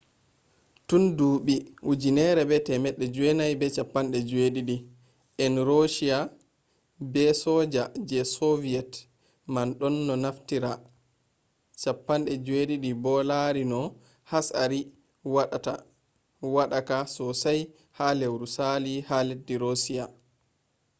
tun duuɓi 1970 en roshiya be soja je soviyet man ɗonno naftira il-76 bo laari no hatsari woɗaka sosai ha lewru sali ha leddi roshiya